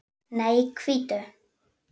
Nei, hvítu.